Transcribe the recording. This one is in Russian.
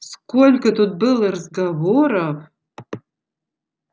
сколько тут было разговоров